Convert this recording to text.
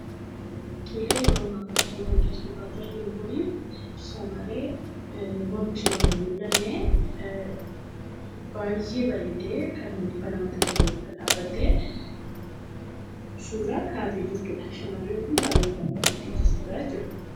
Yeroo ammaa suuraan asiratti argaa jirru kun shamarree mormi ishee oli hin mul'anne baay'ee bareeddee kan dhaabbattee suuraa kaatee jirtudha. Shamarree kun baay'ee kan bareeddee jirtudha jechuudha.